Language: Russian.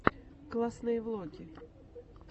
классные влоги